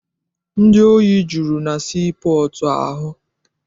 Ndị ohi juru na sii pọọtụ ahụ.